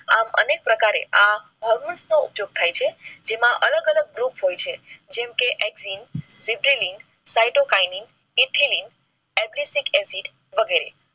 આપ અનેક પ્રકારે આ ઉપયોગ થાય છે જેમાં અલગ અલગ રૂપ હોય છે. જેમ કે excin, sitelin, cytokaynin, ethelene, acetic acid વગેરે